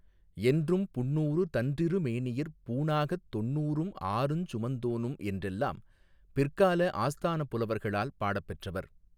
என்றும் புண்ணூறு தன்றிருமேனியிற் பூணாகத் தொண்ணூறும் ஆறுஞ் சுமந்தோனும் என்றெல்லாம் பிற்கால ஆஸ்தானப் புலவர்களால் பாடப் பெற்றவர்.